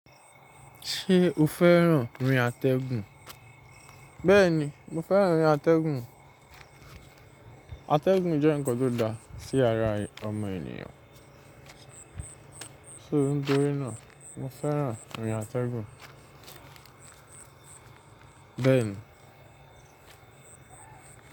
Ṣé o fẹ́ràn rin àtẹ̀gùn? Bẹ́ẹ̀ni, mo fẹ́ràn rin àtẹ̀gùn. Àtẹ̀gùn jẹ́ ǹkan tó dá, sí ara ọmọ ènìyàn. Só nítorí náà, mo fẹ́ràn rin àtẹ̀gùn. Bẹ́ẹ̀ni.